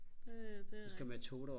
det det er rigtigt